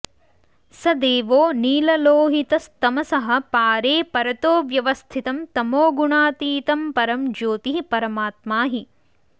स देवो नीललोहितस्तमसः पारे परतो व्यवस्थितं तमोगुणातीतं परं ज्योतिः परमात्मा हि